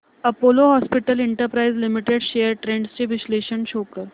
Apollo hospitals enterprise limited shares trends चे विश्लेषण show कर